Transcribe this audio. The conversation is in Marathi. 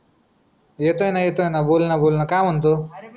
येतोय ना येतोय ना बोल ना बोल ना काय म्हणतो